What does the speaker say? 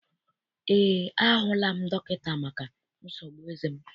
Eé, a hụla m dọkịta maka nsogbu eze m.